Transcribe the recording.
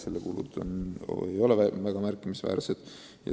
Selle kulud ei ole kuigi märkimisväärsed.